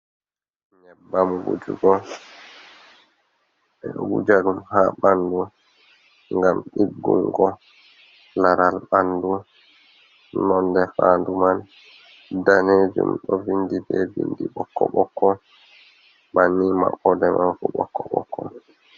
Nyebbam wujugo. Ɓe ɗo wuja ɗum ha ɓandu, ngam ɗiggungo laral ɓandu. Nonde faandu man daneejum. Ɗo vindi be bindi ɓokko-ɓokko, banni maɓɓode man fu ɓokko-ɓokko.